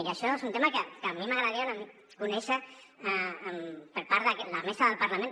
i això és un tema que a mi m’agradaria conèixer per part la mesa del parlament